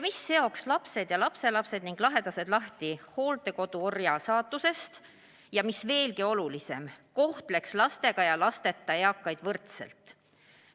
See seoks lapsed ja lapselapsed ning muud lähedased lahti hooldekodu orja saatusest ning, mis veelgi olulisem, kohtleks lastega ja lasteta eakaid võrdselt.